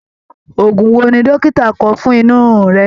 Ògùn wò ní dókítà kọ fún inú rirun rẹ?